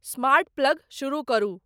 Smart plug शुरू करू।